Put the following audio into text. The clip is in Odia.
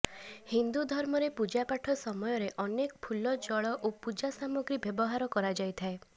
ହିନ୍ଦୁ ଧର୍ମରେ ପୂଜାପାଠ ସମୟରେ ଅନେକ ଫୁଲ ଜଳ ଓ ପୂଜା ସାମଗ୍ରୀ ବ୍ୟବହାର କରାଯାଇଥାଏ